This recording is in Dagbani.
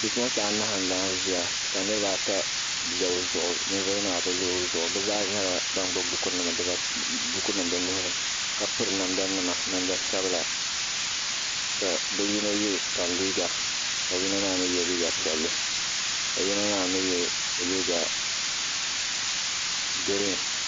Bipuɣinsi anahi n laɣim zɛya, kanirib ata n lɔ bi zuɣu, ninvuɣu yinɔ maa bi lɔ ozuɣu ka bi zaa nyala ban gbubi buku nim bi nuhi ni ka piri namda nima namdi sabila. kabi yinɔ ye tan liiga, ka yinɔ maa mi ye liiga piɛli , ka yinɔ maa mi ye liiga green.